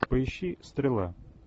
поищи стрела